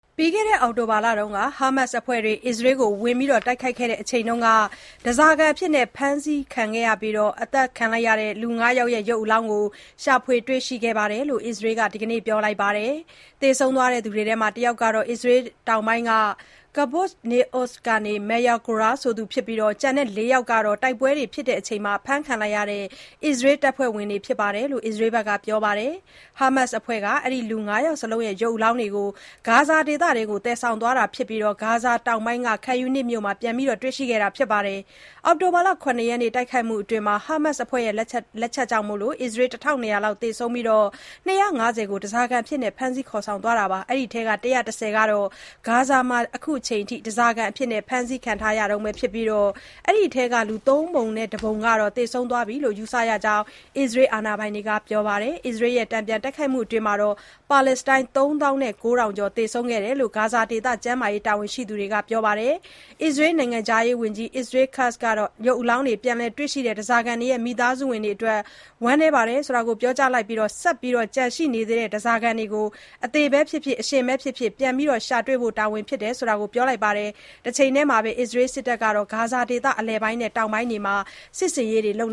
ပြီးခဲ့တဲ့နှစ် အောက်တိုဘာလက ဟာမတ်စ်အဖွဲ့တွေက အစ္စရေးကို တိုက်ခိုက်ခဲ့တုန်းက ဓါးစာခံအဖြစ်ဖမ်းဆီးပြီး သတ်ခံလိုက်ရတဲ့သူ ၅ ယောက်ရဲ့ ရုပ်အလောင်းတွေကို ရှာဖွေတွေရှိခဲ့တယ်လို့ အစ္စရေးက ဒီနေ့ ပြောလိုကပါတယ်။ သေဆုံးသွားတဲ့သူတွေထဲက တယောက်ကတော့ အစ္စရေးတောင်ပိုင်းက Kibbutz Nir Oz မြို့က Maya Goren ဖြစ်ပြီး ကျန်တဲ့ ၄ ယောက်ကတော့ တိုက်ပွဲအတွင်း ဖမ်းခံလိုက်ရတဲ့ အစ္စရေးတပ်ဖွဲ့ဝင်တွေဖြစ်တယ်လို့ အစ္စရေးစစ်တပ်က ပြောပါတယ်။ ဟာမတ်စ်အဖွဲ့က အဲဒီ လူ ၅ ယောက်စလုံးရဲ့ ရုပ်အလောင်းတွေကို ဂါဇာဒေသထဲကို သယ်ဆောင်သွားတာဖြစ်ပြီး၊ ဂါဇာတောင်ပိုင်းက Khan Younis မြို့မှာ ပြန်လည်တွေ့ရှိခဲ့တာဖြစ်တယ်လို့ ပြောပါတယ်။ အောက်တိုဘာ ၇ ရက် တိုက်ခိုက်မှုအတွင်း ဟားမတ်စ်အဖွဲ့ရဲ့ လက်ချက်ကြောင့် ၁၂၀၀ လောက် သေဆုံးပြီး ၂၅၀ ကို ဓါးစာခံအဖြစ် ဖမ်းသွားခဲ့တာပါ။ အဲဒီထဲက ၁၁၀ ကတော့ ဂါဇာမှာ အခုချိန်ထိ ဓါးစာခံအဖြစ် ဖမ်းဆီးခံထားရတုန်းပဲဖြစ်ပြီး၊အဲဒီထဲက ၃ ပုံ ၁ ပုံကတော့ သေဆုံးသွားပြီလို့ ယူဆရကြောင်း အစ္စရေးတာဝန်ရှိသူတွေက ပြောပါတယ်။ အစ္စရေးက တန်ပြန်တိုက်ခိုက်မှုအတွင်း ပါလက်စတိုင်း ၃ သောင်း ၉ ထောင်ကျော် သေဆုံးခဲ့တယ်လို့ ဂါဇာဒေသ ကျန်းမာရေးတာဝန်ရှိသူတွေက ပြောပါတယ်။ အစ္စရေးနိုင်ငံခြားရေးဝန်ကြီး Israel Katz ကတော့ ရုပ်အလောင်းတွေ ပြန်လည်တွေ့ရှိတဲ့ ဓါးစားခံတွေရဲ့မိသားစုဝင်တွေအတွက် ဝမ်းနည်းကြောင်း ပြောကြားလိုက်ပြီး၊ ဆက်ပြီးတော့ ကျန်ရှိနေသေးတဲ့ ဓါးစာခံတွေကို အသေဘဲဖြစ်ဖြစ် အရှင်ဘဲဖြစ်ဖြစ် ပြန်ရှာတွေဖို့က တာဝန်ဖြစ်တယ်လို့ ပြောလိုက်ပါတယ်။ တချိန်တည်းမှာပဲ အစ္စရေးစစ်တပ်ဟာ ဂါဇာဒေသ အလယ်ပိုင်း နဲ့ တောင်ပိုင်းတွေမှာစစ်ဆင်ရေးတွေလုပ်